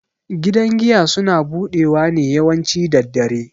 Gidan giya suna budewa ne yawanci daddare.